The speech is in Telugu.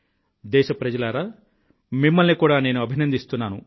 దేశ ప్రజలారా మిమ్మల్ని కూడా నేను అభినందిస్తున్నాను